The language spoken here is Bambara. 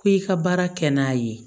Ko i ka baara kɛ n'a ye